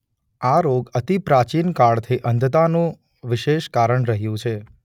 આ રોગ અતિ પ્રાચીન કાળ થી અંધતા નું વિશેષ કારણ રહ્યું છે.